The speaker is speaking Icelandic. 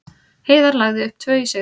Heiðar lagði upp tvö í sigri